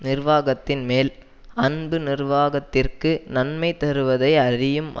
நிர்வாகத்தின்மேல் அன்பு நிர்வாகத்திற்கு நன்மை தருவதை அறியும்